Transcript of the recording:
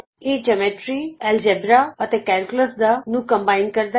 ਇਹ geometry algebra ਅਤੇ calculus geometry algebra and calculus ਦਾ ਸੁਮੇਲ ਹੈ